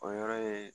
O yɔrɔ ye